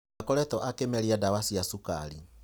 Ndakoretwo akĩmeria ndawa cia cukari.